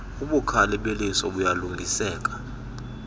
ubukhali beliso buyalungiseka